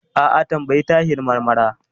A'a, tambayi Tahir Marmara.